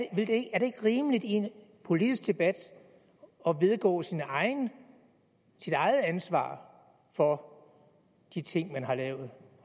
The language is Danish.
er det ikke rimeligt i en politisk debat at vedgå sit eget ansvar for de ting man har lavet